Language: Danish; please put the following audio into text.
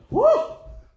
Hu!